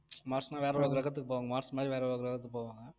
மார்ஸ்ன்னா வேற ஒரு கிரகத்துக்கு போவாங்க மார்ஸ் மாதிரி வேற ஒரு கிரகத்துக்கு போவாங்க